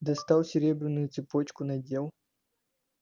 достал серебряную цепочку надел